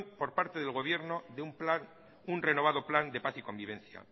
por parte del gobierno de un renovado plan de paz y convivencia